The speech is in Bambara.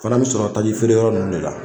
Fana bi sɔrɔ tajifeereyɔrɔ ninnu de la